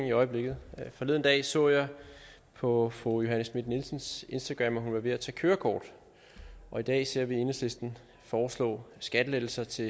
i øjeblikket forleden dag så jeg på fru johanne schmidt nielsens instagram at hun er ved at tage kørekort og i dag ser vi enhedslisten foreslå skattelettelser til